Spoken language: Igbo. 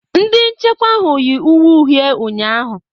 Ndị nchekwa ahụ yi uwe uhie ụnyahụ.